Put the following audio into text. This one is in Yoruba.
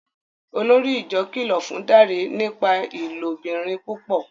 Olórí ìjọ kìlọ fún Dare nípa ilobìrin púpọ